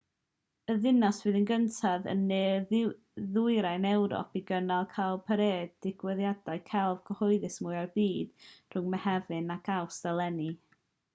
y ddinas fydd y gyntaf yn ne-ddwyrain ewrop i gynnal cowparade digwyddiad celf cyhoeddus mwya'r byd rhwng mehefin ac awst eleni